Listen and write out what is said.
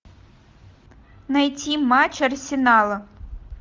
найти матч арсенала